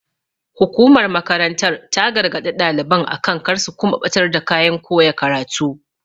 Hukumar makarantar ta gargaɗi ɗalibai akan kar su kuma ɓatar da kayan koya karatu.